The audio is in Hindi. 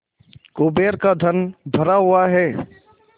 कुबेर का धन भरा हुआ है